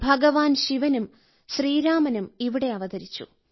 ഭഗവാൻ ശിവനും ശ്രീരാമനും ഇവിടെ അവതരിച്ചു